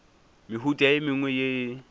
mehuta e mengwe ye e